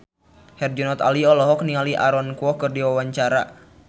Herjunot Ali olohok ningali Aaron Kwok keur diwawancara